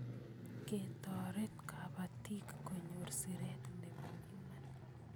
Ketoret kapatik kunyor siret nebo Iman